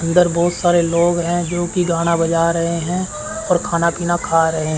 अंदर बहुत सारे लोग हैं जो की गाना बजा रहे हैं और खाना पीना खा रहे--